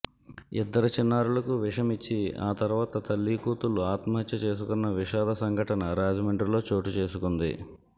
ఇద్దరు చిన్నారులకు విషమిచ్చి ఆ తర్వాత తల్లీ కూతుళ్లు ఆత్మహత్య చేసుకున్న విషాద సంఘటన రాజమండ్రిలో చోటుచేసుకుంది